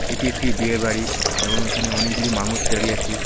এটি একটি বিয়ে বাড়ি এবং এখানে অনেকগুলি মানুষ দাঁড়িয়ে আছে।